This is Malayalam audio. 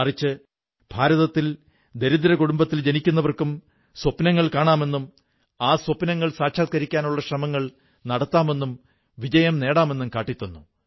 മധ്യപ്രദേശിലെ ബഡ്വാനിയിൽ അതുൽ പാടീദാർ തന്റെ പ്രദേശത്തെ നാലായിരം കർഷകരെ ഡിജിറ്റലായി പരസ്പരം ബന്ധിപ്പിച്ചിരിക്കുന്നു